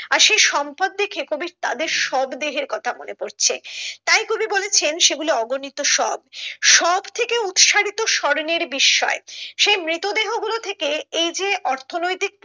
আর সে সম্পদ দেখে কবি তাদের শবদেহের কথা মনে পড়ছে তাই কবি বলেছে সেগুলো অগণিত শব শব থেকে উৎসারিত স্বর্ণের বিস্ময় সে মৃত দেহ গুলো থেকে এই যে অর্থনৈতিক